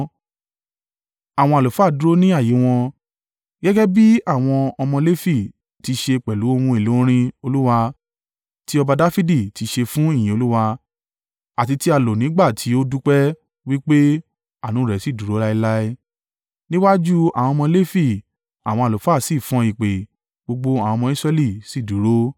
Àwọn àlùfáà dúró ní ààyè wọn, gẹ́gẹ́ bí àwọn ọmọ Lefi ti ṣe pẹ̀lú ohun èlò orin Olúwa, tí ọba Dafidi ti ṣe fún ìyìn Olúwa àti tí á lò nígbà tí ó dúpẹ́, wí pé, “Àánú rẹ̀ sì dúró láéláé,” níwájú àwọn ọmọ Lefi, àwọn àlùfáà sì fọn ìpè, gbogbo àwọn ọmọ Israẹli sì dúró.